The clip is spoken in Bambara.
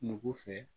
Nugu fɛ